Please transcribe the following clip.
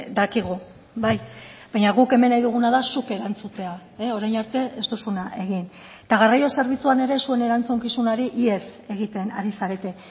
dakigu bai baina guk hemen nahi duguna da zuk erantzutea orain arte ez duzuna egin eta garraio zerbitzuan ere zuen erantzukizunari ihes egiten ari zarete